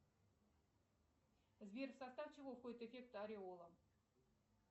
сбер в состав чего входит эффект ореола